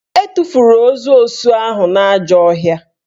E tufuru ozu osu ahụ n'ajọ ọhịa